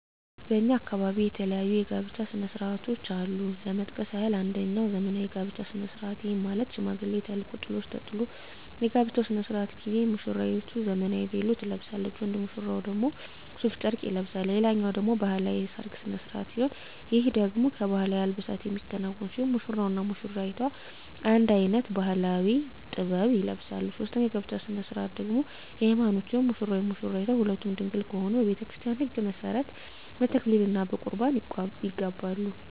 በእኛ አካባቢ የተለያዩ የጋብቻ ስነ ስርዓቶች አሉ ለመጥቀስ ያክል አንጀኛው ዘመናዊ የጋብቻ ስነ ስርዓት ይህም ማለት ሽማግሌ ተልኮ ጥሎሽ ተጥሎ የጋብቻው ስነ ስርዓት ጊዜ ሙስራይቱ ዘመናዊ ቬሎ ትለብሳለች ወንድ ሙሽራው ደግሞ ሡፍ ጨርቅ ይለብሳል ሌላኛው ደግሞ ባህላዊ የሰርግ ስነ ስርዓት ሲሆን ይህ ደግሞ በባህላዊ አልባሳት የሚከናወን ሲሆን ሙሽራው እና ሙሽሪቷ አንድ አይነት ባህላዊ(ጥበብ) ይለብሳሉ ሶስተኛው የጋብቻ ስነ ስርዓት ደግሞ የሀይማኖት ሲሆን ሙሽራውም ሆነ ሙሽራይቷ ሁለቱም ድንግል ከሆኑ በቤተክርስቲያን ህግ መሠረት በተክሊል እና በቁርባን ይጋባሉ።